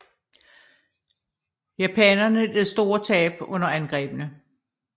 Japanerne led store tab under angrebene